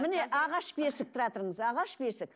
міне ағаш бесік тұра тұрыңыз ағаш бесік